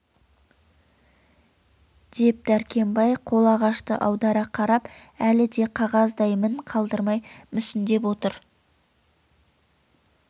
деп дәркембай қолағашты аудара қарап өлі де қағаздай мін қалдырмай мүсіндеп отыр